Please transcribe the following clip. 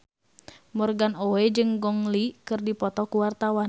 Morgan Oey jeung Gong Li keur dipoto ku wartawan